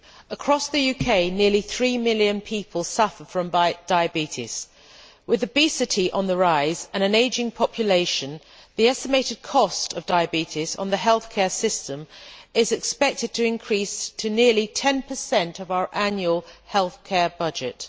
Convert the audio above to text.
Mr President, across the UK nearly 3 million people suffer from diabetes. With obesity on the rise and an ageing population, the estimated cost of diabetes on the healthcare system is expected to increase to nearly 10 of our annual healthcare budget.